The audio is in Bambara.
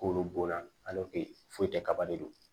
K'olu bo la foyi tɛ kaba de don